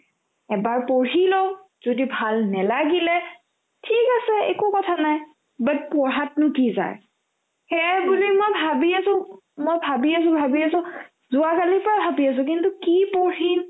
এবাৰ পঢ়ি লও যদি ভাল নেলাগিলে ঠিক আছে একো কথা নাই but পঢ়াতনো কি যায় সেয়েবুলি মই ভাবিয়ে তোক মই ভাবি আছো ভাবি আছো যোৱাকালিতো ভাবি আছো কিন্তু কি পঢ়িম